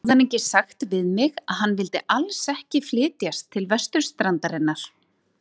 Hafði hann ekki sagt við mig, að hann vildi alls ekki flytjast til vesturstrandarinnar?